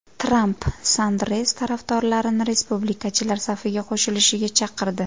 Tramp Sanders tarafdorlarini respublikachilar safiga qo‘shilishga chaqirdi.